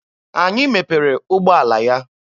Anyị mepere ụgbọala ya.